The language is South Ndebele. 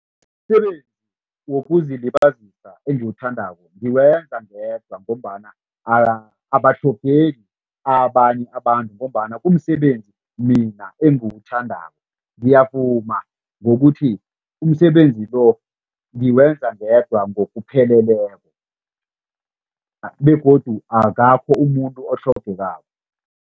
Umsebenzi wokuzilibazisa engiwuthandako ngiwenza ngedwa ngombana abatlhogeki abanye abantu ngombana kumsebenzi mina engiwuthandako. Ngiyavuma ngokuthi umsebenzi lo ngiwenza ngedwa ngokupheleleko begodu akakho umuntu otlhogekako.